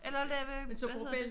Eller lave hvad hedder det